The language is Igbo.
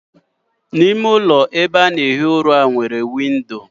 ime ụlọ ihi ụra nwere windo